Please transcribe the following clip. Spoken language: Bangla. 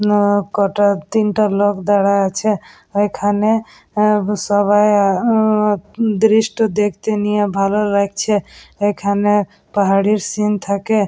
ন কটা তিনটা লোক দাঁড়া আছে ওইখানে আ সবাই আ ও-ও দৃষ্ট দেখতে নিয়ে ভালো লাগছে এখানে পাহাড়ের সীন থাকে ।